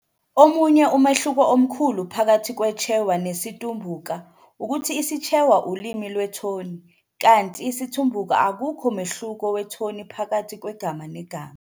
Omunye umehluko omkhulu phakathi kweChewa nesiTumbuka ukuthi isiChewa ulimi lwethoni, kanti esiTumbuka akukho mehluko wethoni phakathi kwegama negama.